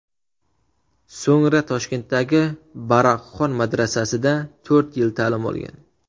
So‘ngra Toshkentdagi Baroqxon madrasasida to‘rt yil ta’lim olgan.